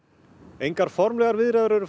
engar formlegar viðræður eru